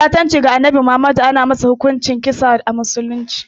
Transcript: Ɓatanci ga Annabi Muhammadu ana masa hukunci da kisa a musulunci.